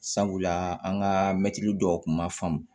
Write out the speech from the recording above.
Sabula an ka mɛtiri dɔw kun ma faamu